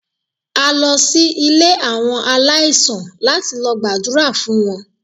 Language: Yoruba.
A lọ sí ilé àwọn aláìsàn láti lọ gbàdúrà fún wọn.